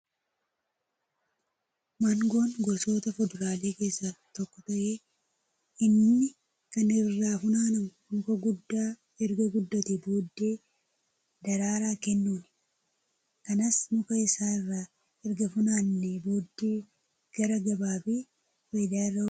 Maangoon gosoota fuduraalee keessaa tokko ta'ee inni kan irraa funaanamu muka guddaa erga guddatee booddee daraaraa kennuuni. Kanas muka isaa irraa erga funaannee booddee gara gabaa fi fayidaa irra oolchina.